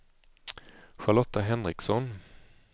Charlotta Henriksson